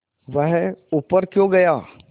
वह ऊपर क्यों गया